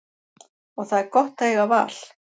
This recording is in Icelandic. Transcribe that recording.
Og það er gott að eiga val.